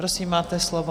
Prosím, máte slovo.